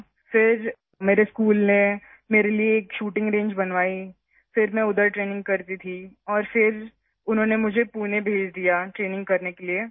پھر میرے اسکول نے میرے لیے ایک شوٹنگ رینج بنائی... میں وہاں تربیت لیتی تھی اور پھر انہوں نے مجھے تربیت کے لیے پونے بھیج دیا